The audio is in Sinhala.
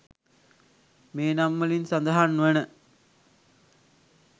මේ නම්වලින් සඳහන් වන